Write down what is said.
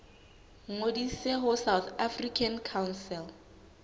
ngodise ho south african council